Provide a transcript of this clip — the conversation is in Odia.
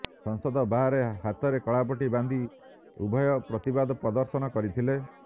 ସଂସଦ ବାହାରେ ହାତରେ କଳାପଟି ବାନ୍ଧି ଉଭୟ ପ୍ରତିବାଦ ପ୍ରଦର୍ଶନ କରିଥିଲେ